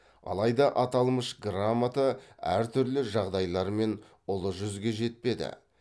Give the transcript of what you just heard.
алайда аталмыш грамота әртүрлі жағдайлармен ұлы жүзге жетпеді